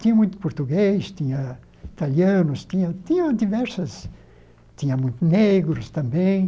Tinha muito português, tinha italianos, tinha tinha diversos... tinha muito negros também.